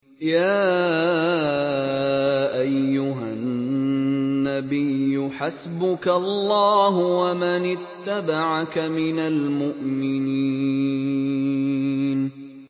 يَا أَيُّهَا النَّبِيُّ حَسْبُكَ اللَّهُ وَمَنِ اتَّبَعَكَ مِنَ الْمُؤْمِنِينَ